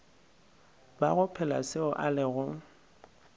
bago phela seo a lego